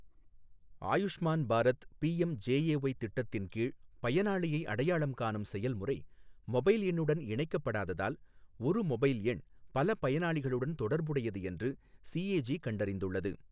Ayushman Bharat PM JAY திட்டத்தின் கீழ் பயனாளியை அடையாளம் காணும் செயல்முறை மொபைல் எண்ணுடன் இணைக்கப்படாததால் ஒரு மொபைல் எண் பல பயனாளிகளுடன் தொடர்புடையது என்று சிஏஜி கண்டறிந்துள்ளது.